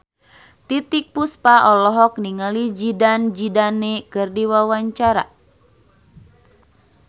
Titiek Puspa olohok ningali Zidane Zidane keur diwawancara